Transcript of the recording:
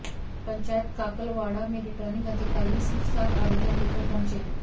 पंचायत काकलवाड़ा में रिटर्निंग अधिकारी सिर्फ सात आवेदन लेकर पहुंचे